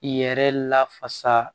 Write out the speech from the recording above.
I yɛrɛ lafasa